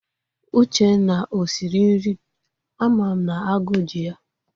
Uchenna o siri nri? Ama m na aguu ji ha.